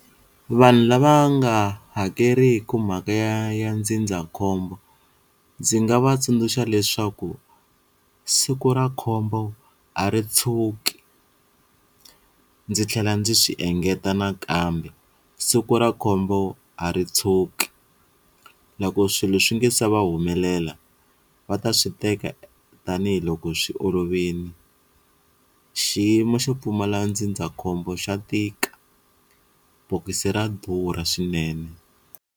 Vanhu lava nga hakeriki mhaka ya ya ndzindzakhombo ndzi nga va tsundzuxa leswaku siku ra khombo a ri tshuki ndzi tlhela ndzi swi engeta nakambe siku ra khombo a ri tshuki loko swilo swi nge se va humelela va ta swi teka tanihiloko swi olovini, xiyimo xo pfumala ndzindzakhombo xa tika bokisi ra durha swinene.